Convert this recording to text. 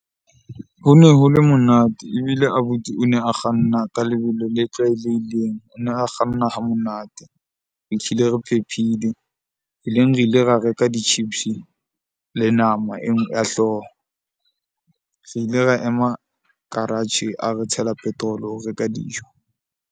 Ho ne ho le monate ebile abuti o ne a kganna ka lebelo le tlwaelehileng, o ne a kganna ha monate. Re phephile tseleng re ile ra reka di-chips le nama ya hlooho. Re ile ra ema garage, a re tshela petrol-o reka dijo.